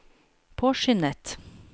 påskyndet